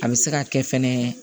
A bɛ se ka kɛ fɛnɛ